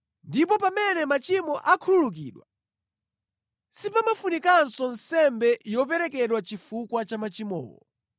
Ndipo pamene machimo akhululukidwa, sipafunikanso nsembe yoperekedwa chifukwa cha machimowo.